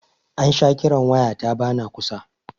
An sha kiran waya ta ba na kusa